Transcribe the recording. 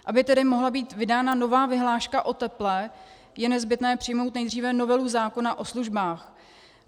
Aby tedy mohla být vydána nová vyhláška o teple, je nezbytné přijmout nejdříve novelu zákona o službách.